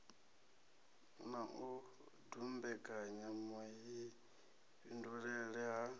na u dumbekanya vhuifhinduleli ha